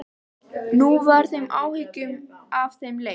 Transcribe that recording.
Nú var þeim áhyggjum af þeim létt.